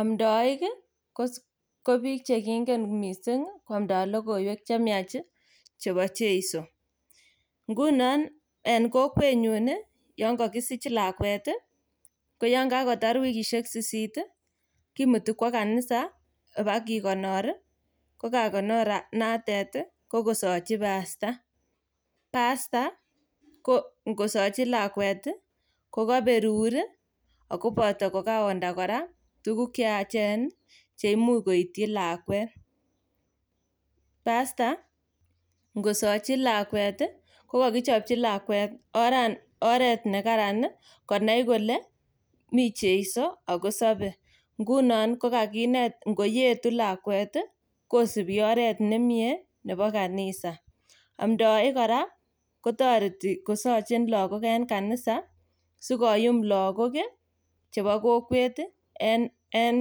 amndsik ko bik chekingen missing ih koamda logoiwek chemyach ih chebo cheiso ngunon en kokwenyon ih Yoon kakisich lakuet ih ko Yoon kakotor wikishek sisit ih kimuti kwo kanisa ih ibakikonor ko kakonoret noton ih ko kosachi pasta , pasta ko ingosachi lakuet ih ko kaberur ih Ako kora ko kaonda tuguk cheyachen cheimuch koityi lakuet. Pasta ih ingosachi lakuet ih kokakichapchi lakuet oret nekararan konai kole mi cheiso Ako sabe ngunon ko kaginet ingoetu lakuet ih, kosubi oret nemie nebo kanisa amdaik kora kotareti kosachin lakok en kanisa sikomuch lakok en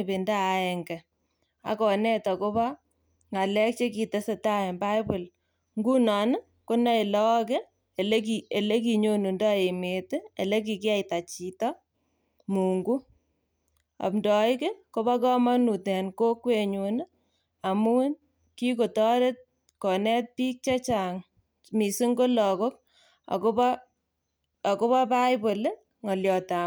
ibinda aenge agonet akobo ng'alek chekitesentai en bible ingunon konae lakok olekikiyaita emeet olekikiyaita chito amdaik ih koba kamanut en kokwenyon amuun kikotoret konet bik chechang akobo lakok akoba